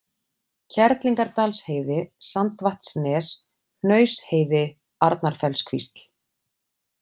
Kerlingardalsheiði, Sandvatnsnes, Hnausheiði, Arnarfellskvísl